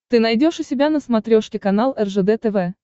ты найдешь у себя на смотрешке канал ржд тв